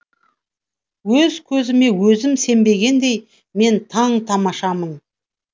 өз көзіме өзім сенбегендей мен таң тамашамын